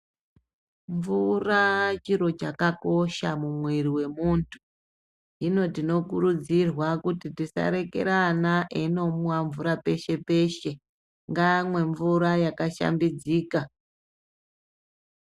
Mvura chiro chakakosha mumwiri wemuntu inotikurudzira kuti tisarekera vana veindomwa mvura peshe peshe ngamwe mvura yaka shambidzika.